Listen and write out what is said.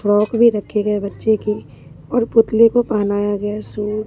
frock भी रखे गए बच्चे की और पुतले को पहनाया गया सू--